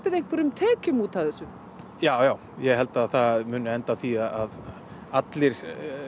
einhverjum tekjum út af þessu já já ég held að það mun enda á því að allir